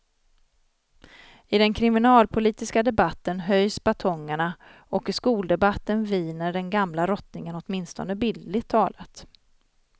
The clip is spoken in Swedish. I den kriminalpolitiska debatten höjs batongerna och i skoldebatten viner den gamla rottingen, åtminstone bildligt talat.